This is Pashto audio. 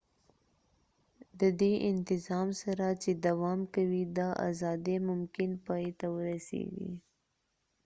ددې انتظام سره چې دوام کوي دا ازادي ممکن پای ته ورسیږی